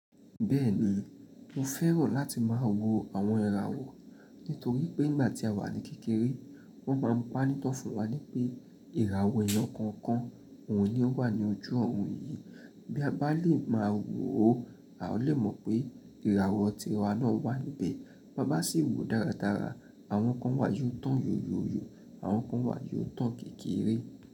Bẹ́ẹ̀ni, mo fẹ́ràn láti máa wo àwọn ìràwọ̀ nítorí pé nígbà tí a wà ní kékeré, wọ́n máa ń pa nítan fún wa pé ìràwọ̀ èèyàn kọ̀ọ̀kan òhun ní o wà ní ojú oorun yìí. Bí a bá lè máa wò ó, a ò lè mọ̀ pé ìràwọ̀ tiwa náà wà níbẹ̀. Bí a bá sì wò dáradára, àwọn kan wà yóò tán yóyóyó, àwọn kan wà yóò tán kékeré.